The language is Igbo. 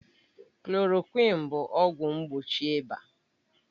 Klòròkwịn bụ ọgwụ mgbochi ịba